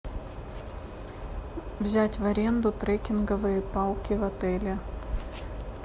взять в аренду трекинговые палки в отеле